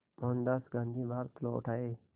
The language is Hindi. मोहनदास गांधी भारत लौट आए